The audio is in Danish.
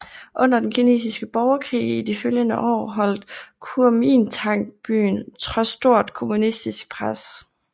Under den kinesiske borgerkrig i de følgende år holdt Kuomintang byen trods stort kommunistisk pres